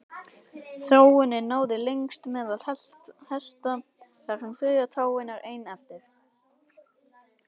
Þróunin náði lengst meðal hesta þar sem þriðja táin er ein eftir.